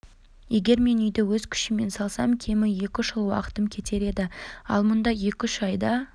егер мен үйді өз күшіммен салсам кемі екі-үш жыл уақытым кетер еді ал мұнда екі-үш айда